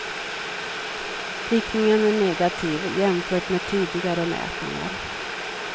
Riktningen är negativ, jämfört med tidigare mätningar.